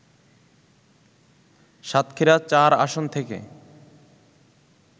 সাতক্ষীরা-৪ আসন থেকে